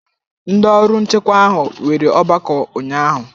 Ndị ọrụ nchekwa ahụ nwere ọgbakọ ụnyahụ.